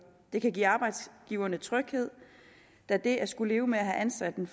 det kan give arbejdsgiverne tryghed da det at skulle leve med at have ansat en